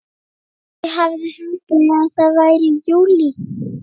Ég hefði haldið að það væri júlí.